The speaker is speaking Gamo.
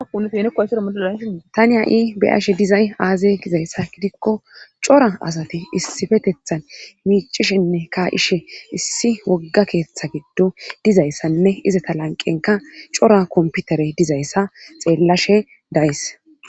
Uyeoeseamolala tani ha'i beashe dizay aaze gizayssa gidikko cora asati issifetethan miicishenne kaa'ishe issi wogga keeththa giddo dizayssanne izata lanqenka cora komputare dizayssa xeellashe dayis.